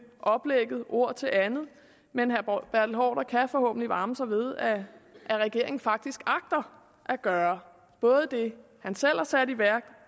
oplægget fra ord til andet men herre kan forhåbentlig varme sig ved at regeringen faktisk agter at gøre både det han selv har sat i værk